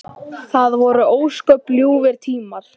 Enginn veit sína ævina.